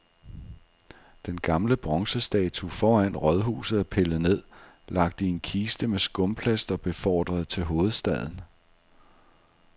Den gamle bronzestatue foran rådhuset er pillet ned, lagt i en kiste med skumplast og befordret til hovedstaden.